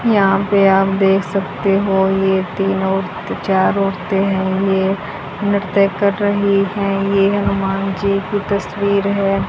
यहां पे आप देख सकते हो ये तीनों चार औरते हैं ये नृत्य कर रही है ये हनुमान जी की तस्वीर है।